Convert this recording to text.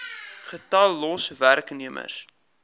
getal los werknemers